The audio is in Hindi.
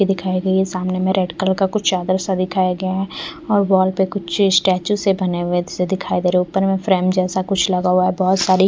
ये दिखाई गयी है सामने मे रेड कलर का कुछ चादर सा दिखाई गया है और वाल पे कुछ स्टेचू से बने हुए से दिखाई से दे रहे है ऊपर मे फ्रेम जैसा कुछ लगा हुआ है बहुत सारी--